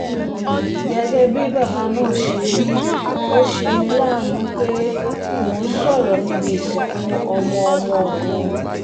gẹ́gẹ́ bí bàbá náà ṣe wí ó ṣe mí láàánú pé mò ń sọ̀rọ̀ níbi ìsìnkú ọmọ-ọmọ mi